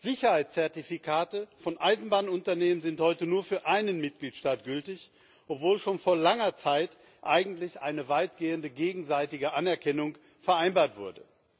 Sicherheitszertifikate von Eisenbahnunternehmen sind heute nur für einen Mitgliedstaat gültig, obwohl schon vor langer Zeit eigentlich eine weitgehende gegenseitige Anerkennung vereinbart wurde.